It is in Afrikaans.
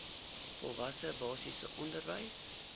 volwasse basiese onderwys